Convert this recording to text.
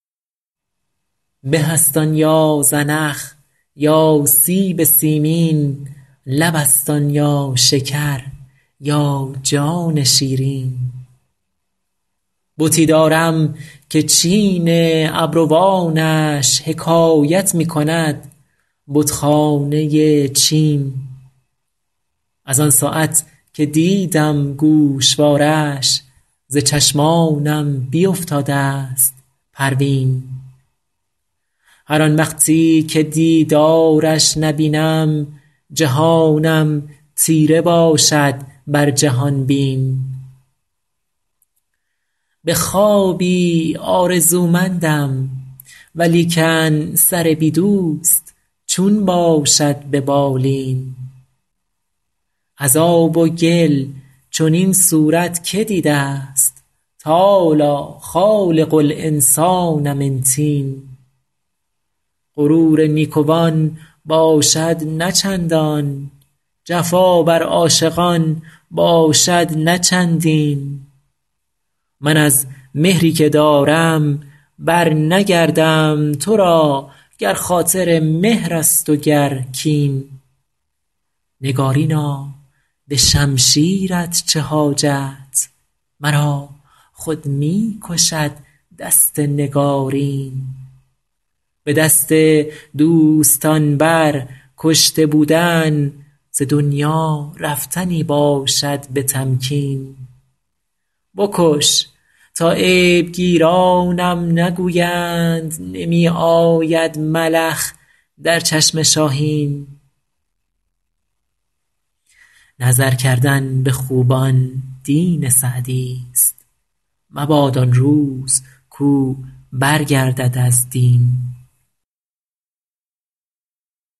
به است آن یا زنخ یا سیب سیمین لب است آن یا شکر یا جان شیرین بتی دارم که چین ابروانش حکایت می کند بتخانه چین از آن ساعت که دیدم گوشوارش ز چشمانم بیفتاده ست پروین هر آن وقتی که دیدارش نبینم جهانم تیره باشد بر جهان بین به خوابی آرزومندم ولیکن سر بی دوست چون باشد به بالین از آب و گل چنین صورت که دیده ست تعالی خالق الانسان من طین غرور نیکوان باشد نه چندان جفا بر عاشقان باشد نه چندین من از مهری که دارم برنگردم تو را گر خاطر مهر است و گر کین نگارینا به شمشیرت چه حاجت مرا خود می کشد دست نگارین به دست دوستان بر کشته بودن ز دنیا رفتنی باشد به تمکین بکش تا عیب گیرانم نگویند نمی آید ملخ در چشم شاهین نظر کردن به خوبان دین سعدیست مباد آن روز کاو برگردد از دین